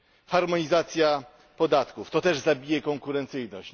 Harmonizacja podatków to też zabije konkurencyjność.